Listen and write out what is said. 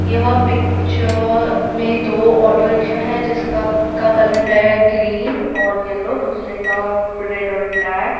यह पिक्चर में दो ऑटो रिक्शा है जिसका का कलर है ग्रीन और पीला दूसरे का रेड और ब्लैक ।